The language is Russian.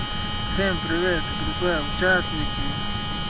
всем привет группа участники